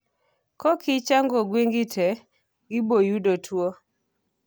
Kokichanjo gwengi tee, giboyudo tuo